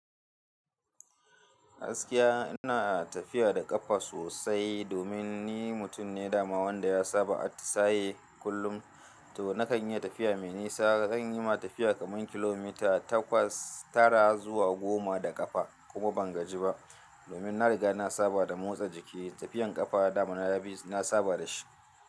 Gaskiya ina tafiya da ƙafa sosai domin ni mutum ne dama wanda ya saba a tsaye kullum. To na kan iya tafiya mai nisa. Zan yi ma tafiya kaman kilomita takwas tara zuwa goma da ƙafa kuma ban gaji ba domin na riga na saba da motsa jiki. Tafiyan ƙafa dama na yi, na saba da shi.